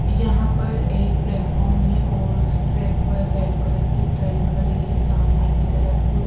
यहां पर एक प्लेटफार्म है और ट्रैक पर रेड कलर की ट्रेन खड़ी है सामने की तरफ।